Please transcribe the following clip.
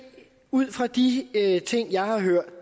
ud fra de ting jeg har hørt